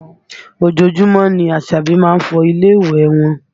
Ojoojúmọ́ ni Àṣàbí má ń fọ ilé ìwẹ̀ wọn